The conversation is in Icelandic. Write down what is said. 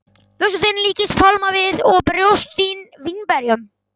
Vöxtur þinn líkist pálmavið og brjóst þín vínberjum.